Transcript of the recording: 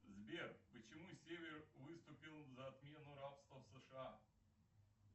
сбер почему север выступил за отмену рабства в сша